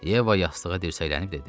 Yeva yastığa dirsəklənib dedi: